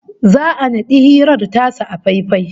Za'a naɗi hirar tasu a faifai